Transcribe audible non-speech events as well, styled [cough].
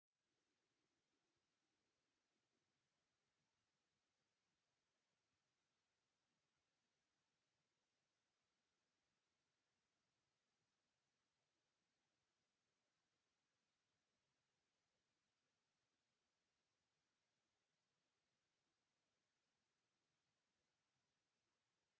[skip]